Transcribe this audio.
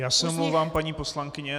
Já se omlouvám, paní poslankyně.